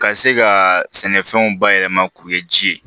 Ka se ka sɛnɛfɛnw bayɛlɛma k'o kɛ ji ye